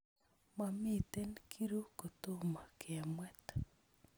Momiten kiru kotomo kemwet